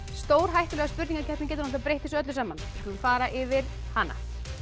stórhættulega spurningakeppnin getur breytt þessu öllu saman við skulum fara yfir hana